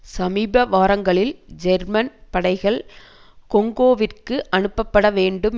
சமீப வாரங்களில் ஜெர்மன் படைகள் கொங்கோவிற்கு அனுப்பப்பட வேண்டும்